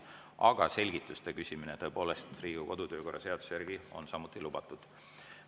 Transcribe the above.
Aga selgituste küsimine on Riigikogu kodu‑ ja töökorra seaduse järgi samuti lubatud.